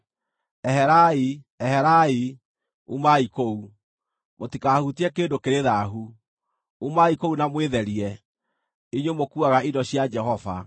Eherai, eherai, umai kũu! Mũtikahutie kĩndũ kĩrĩ thaahu! Umai kũu na mwĩtherie, inyuĩ mũkuuaga indo cia Jehova.